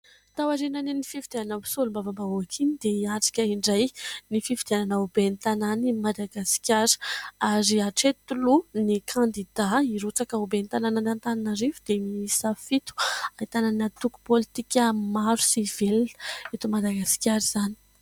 Tao aorianan'iny fifidianana solombavambahoaka iny dia hiatrika indray ny fifidianana ho ben'ny tanàna i Madagasikara ary hatreto aloha ny kandidà hirotsaka ho ben'ny tanàna ny Antananarivo dia miisa fito ahitana ny antoko politika maro sy velona eto Madagasikara izany.